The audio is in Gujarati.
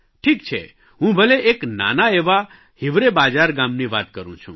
ઠીક છે હું ભલે એક નાના એવા હિવરે બાજાર ગામની વાત કરૂં છું